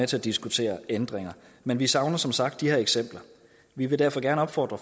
til at diskutere ændringer men vi savner som sagt de her eksempler vi vil derfor gerne opfordre